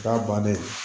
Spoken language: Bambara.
Da bannen